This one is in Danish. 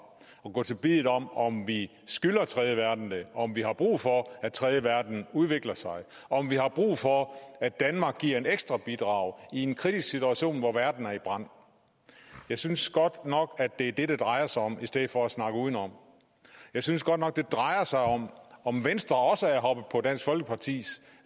og gå til biddet om om vi skylder tredjeverdenen det om vi har brug for at tredjeverdenen udvikler sig om vi har brug for at danmark giver et ekstra bidrag i en kritisk situation hvor verden er i brand jeg synes godt nok at det er det det drejer sig om i stedet for at snakke udenom jeg synes godt nok det drejer sig om om venstre også er hoppet på dansk folkepartis